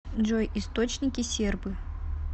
джой источники сербы